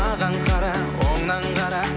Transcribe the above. маған қара оңнан қара